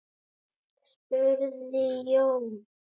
spurði Jón.